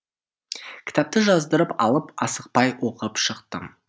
кітапты жаздырып алып асықпай оқып шықтым